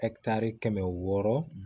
kɛmɛ wɔɔrɔ